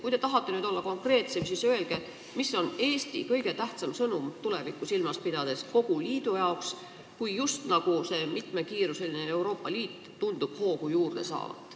Kui te tahate nüüd olla konkreetsem, siis palun öelge, mis on tulevikku silmas pidades Eesti kõige tähtsam sõnum kogu liidule, kui just nagu see mitmekiiruseline Euroopa Liit tundub hoogu juurde saavat.